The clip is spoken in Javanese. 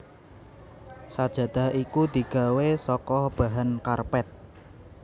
Sajadah iku digawé saka bahan karpet